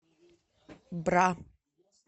бра